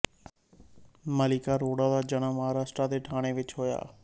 ਮਲਾਇਕਾ ਅਰੋੜਾ ਦਾ ਜਨਮ ਮਹਾਰਾਸ਼ਟਰ ਦੇ ਥਾਣੇ ਵਿੱਚ ਹੋਇਆ ਸੀ